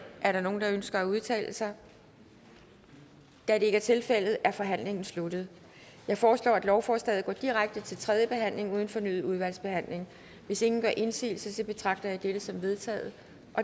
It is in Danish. er der nogen der ønsker at udtale sig da det ikke er tilfældet er forhandlingen sluttet jeg foreslår at lovforslaget går direkte til tredje behandling uden fornyet udvalgsbehandling hvis ingen gør indsigelse betragter jeg dette som vedtaget